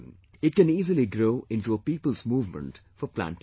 It can easily grow into a people's movement for planting trees